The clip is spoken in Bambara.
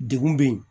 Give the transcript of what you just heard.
Degun bɛ yen